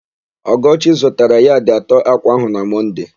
Ọgọchi zụtara yadị atọ ákwà áhụ̀ na Mọnde.